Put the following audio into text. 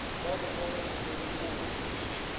ba bo tswalanya le bokobo